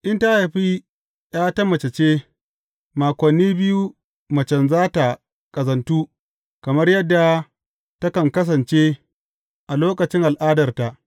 In ta haifi ’ya ta mace ce, makoni biyu macen za tă ƙazantu kamar yadda takan kasance a lokacin al’adarta.